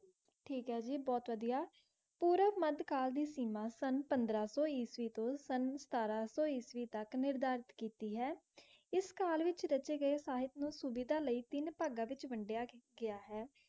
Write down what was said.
ਠੀਕ ਏ ਜੀ ਬਹੁਤ ਵਧੀਆ ਪੂਰਬ ਮੱਧਕਾਲ ਦੀ ਸੀਮਾ ਸੰਨ ਪੰਦਰਾਂ ਸੌ ਈਸਵੀ ਤੋਂ ਸੰਨ ਸਤਾਰਾਂ ਸੌ ਈਸਵੀ ਤੱਕ ਨਿਰਧਾਰਿਤ ਕੀਤੀ ਹੈ ਇਸ ਕਾਲ ਵਿਚ ਰਚੇ ਗਏ ਸਾਹਿਤ ਨੂੰ ਸੁਵਿਧਾ ਲਈ ਤਿੰਨ ਭਾਗਾਂ ਵਿਚ ਵੰਡਿਆ ਗ~ ਗਿਆ ਹੈ